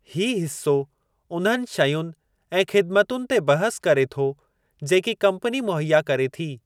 हीउ हिस्सो उन्हनि शयुनि ऐं ख़िदमतुनि ते बहसु करे थो जेकी कम्पनी मुहैया करे थी।